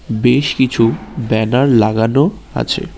বেশ কিছু ব্যানার লাগানো আছে।